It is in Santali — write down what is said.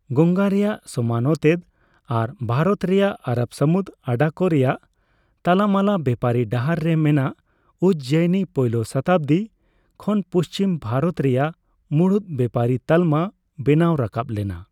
ᱜᱚᱝᱜᱟ ᱨᱮᱭᱟᱜ ᱥᱚᱢᱟᱱ ᱚᱛᱮᱫ ᱟᱨ ᱵᱷᱟᱨᱚᱛ ᱨᱮᱭᱟᱜ ᱟᱨᱚᱵᱽᱼᱥᱟᱹᱢᱩᱫᱽ ᱟᱰᱟ ᱠᱚ ᱨᱮᱭᱟᱜ ᱛᱟᱞᱟᱢᱟᱞᱟ ᱵᱮᱯᱟᱨᱤ ᱰᱟᱦᱟᱨ ᱨᱮ ᱢᱮᱱᱟᱜ ᱩᱡᱽᱡᱚᱭᱤᱱᱤ ᱯᱳᱭᱞᱳ ᱥᱚᱛᱟᱵᱽᱫᱤ ᱠᱷᱚᱱ ᱯᱩᱪᱷᱤᱢ ᱵᱷᱟᱨᱚᱛ ᱨᱮᱭᱟᱜ ᱢᱩᱬᱩᱫ ᱵᱮᱯᱟᱨᱤ ᱛᱟᱞᱢᱟ ᱵᱮᱱᱟᱣ ᱨᱟᱠᱟᱵ ᱞᱮᱱᱟ ᱾